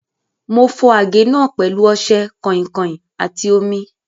Mo fọ àgé náà pẹ̀lú ọṣẹ, kàìnkàìn àti omi.